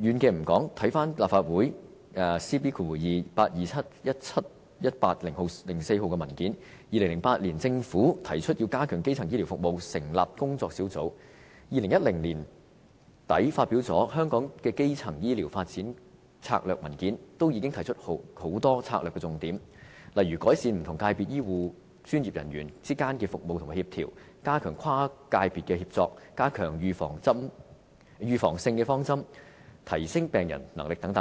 遠的不說，回看立法會 CB2827/17-18 號文件 ，2008 年政府提議要加強基層醫療服務，成立工作小組 ；2010 年年底發《香港的基層醫療發展策略文件》均已提出很多策略重點，例如改善不同界別醫護專業人員之間的服務和協調、加強跨界別協作、加強預防性方針、提升病人能力等，